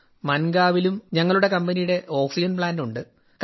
മൻഗാവിലും ഞങ്ങളുടെ കമ്പനിയുടെ oxygen plant ഉണ്ട്